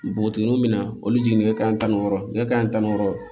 Npogotigininw be na olu jigin nɛgɛ kanɲɛ tan ni wɔɔrɔ nɛgɛ kanɲɛ tan ni wɔɔrɔ